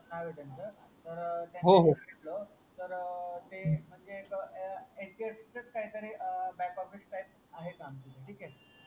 नाव आहे त्यांचा तर होहो तर ते म्हणजे एक HDFC च कायतरी बॅकऑफिस टाइप आहे का आमचे येते ठीक हे